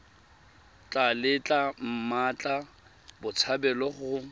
tla letla mmatla botshabelo go